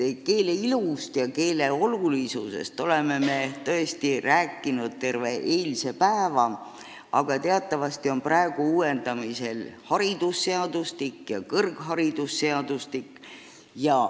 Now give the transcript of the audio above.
Keele ilust ja keele olulisusest me rääkisime terve eilse päeva, aga teatavasti on praegu uuendamisel haridusseadustik ja kõrgharidusseadustik.